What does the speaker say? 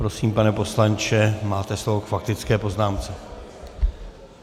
Prosím, pane poslanče, máte slovo k faktické poznámce.